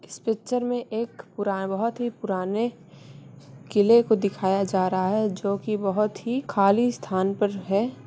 इस पिक्चर में एक पुराने बोहत ही पुराने किले को दिखाया जा रहा है जोकि बोहत ही खाली स्थान पर है।